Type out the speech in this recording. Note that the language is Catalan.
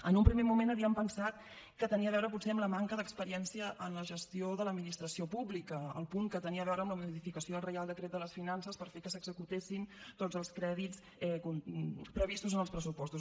en un primer moment havíem pensat que tenia a veure potser amb la manca d’experiència en la gestió de l’administració pública el punt que tenia a veure amb la modificació del reial decret de les finances per fer que s’executessin tots els crèdits previstos en els pressupostos